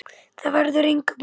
Þar verður engu breytt.